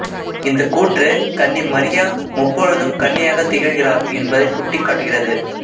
இந்தக் கூற்று கன்னி மரியா முப்பொழுதும் கன்னியாகத் திகழ்கிறார் என்பதைச் சுட்டிக்காட்டுகிறது